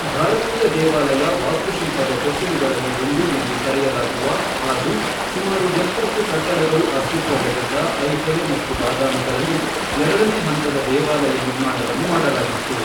ಭಾರತೀಯ ದೇವಾಲಯ ವಾಸ್ತುಶಿಲ್ಪದ ತೊಟ್ಟಿಲುಗಳಲ್ಲಿ ಒಂದು ಎಂದು ಕರೆಯಲಾಗುವ ಹಾಗೂ ಸುಮಾರು ಎಪ್ಪತ್ತು ಕಟ್ಟಡಗಳು ಅಸ್ತಿತ್ವದಲ್ಲಿದ್ದ ಐಹೊಳೆ ಮತ್ತು ಬಾದಾಮಿಗಳಲ್ಲಿ ಎರಡನೇ ಹಂತದ ದೇವಾಲಯ ನಿರ್ಮಾಣವನ್ನು ಮಾಡಲಾಗಿತ್ತು.